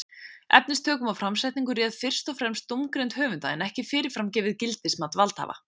Efnistökum og framsetningu réð fyrst og fremst dómgreind höfunda en ekki fyrirfram gefið gildismat valdhafa.